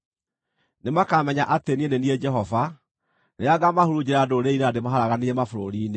“Nĩmakamenya atĩ niĩ nĩ niĩ Jehova, rĩrĩa ngaamahurunjĩra ndũrĩrĩ-inĩ na ndĩmaharaganĩrie mabũrũri-inĩ.